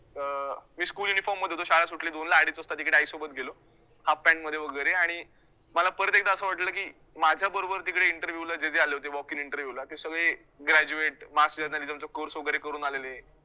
अं मी school inform मध्ये होतो, शाळा सुटली दोनला, अडीज वाजता तिकडे आईसोबत गेलो half pant मध्ये वैगरे आणि मला परत एकदा असं वाटलं की माझ्याबरोबर तिकडे interview ला जे जे आले होते walk in interview ला ते सगळे graduate, mass journalism चा course वैगरे करून आलेले